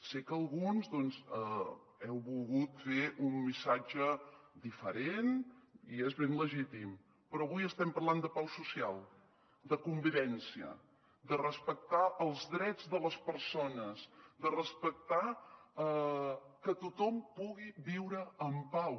sé que alguns heu volgut fer un missatge diferent i és ben legítim però avui estem parlant de pau social de convivència de respectar els drets de les persones de respectar que tothom pugui viure en pau